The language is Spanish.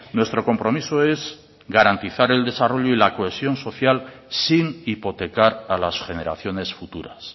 nuestro compromiso es garantizar el desarrollo y la cohesión social sin hipotecar a las generaciones futuras